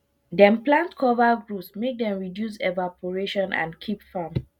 dem plant cover groups make dem reduce evarporation and keep farm